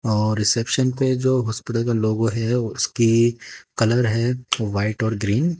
और रिसेप्शन पे जो हॉस्पिटल का लोगो है उसके कलर है व्हाइट और ग्रीन --